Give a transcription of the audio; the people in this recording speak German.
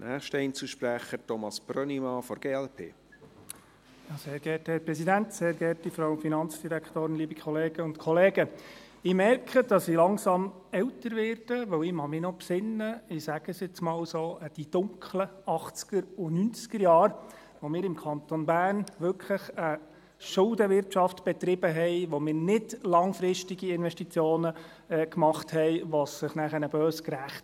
Ich merke, dass ich langsam älter werde, weil ich mich noch erinnern kann – ich sage dies jetzt mal so – an die dunklen 1980er- und 1990er-Jahre, in denen wir im Kanton Bern wirklich eine Schuldenwirtschaft betrieben, in denen wir keine langfristigen Investitionen machten, was sich nachher böse rächte.